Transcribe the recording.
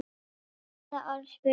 Hvaða orð? spurði hann.